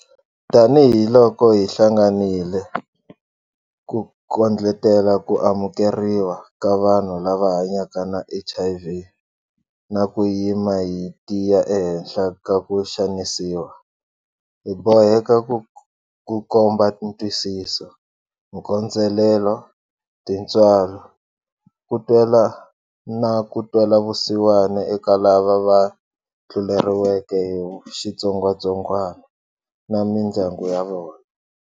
Tanihiloko hi hlanganile ku kondletela ku amukeriwa ka vanhu lava hanyaka na HIV na ku yima hi tiya ehenhla ka ku xanisiwa, hi boheka ku komba ntwisiso, nkondzelelo, tintswalo, ku twela na ntwelavusiwana eka lavaya va tluleri weke hi xitsongwatsongwana na mindyangu ya vona.